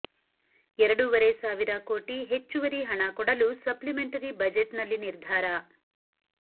ಎರಡುವರೆ ಸಾವಿರ ಕೋಟಿ ಹೆಚ್ಚುವರಿ ಹಣ ಕೊಡಲು ಸಪ್ಲಿಮೆಂಟರಿ ಬಜೆಟ್ ನಲ್ಲಿ ನಿರ್ಧಾರ